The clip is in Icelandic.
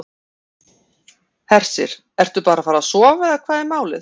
Hersir: Ertu bara að fara að sofa eða hvað er málið?